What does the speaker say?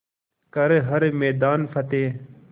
कर हर मैदान फ़तेह